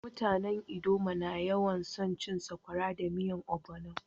Mutanen ldoma na yawan so cin sakwara da miyan ogbono.